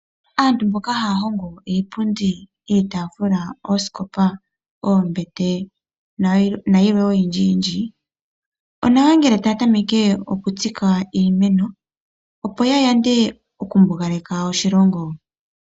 Aantu mboka haya hongo iipundi, iitaafula, oosikopa, oombete nayilwe oyindji yindji, onawa ngelentaya tameke okutsika iimeno opo ya yande okumbugaleka oshilongo.